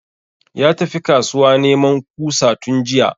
Ya tafi kasuwa neman kusa tun jiya